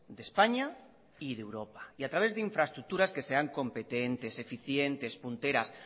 de españa y de europa y a través de infraestructuras que se han competentes eficientes punteras